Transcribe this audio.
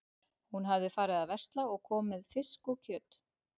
Hún hafði farið að versla og kom með fisk og kjöt.